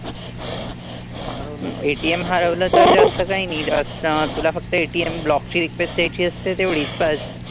ATM हरवलं तर जास्त काही नाही. जास्त तुला फक्त ATM block ची request द्यायची असते तेवढीच बस.